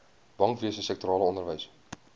bankwese sektorale onderwys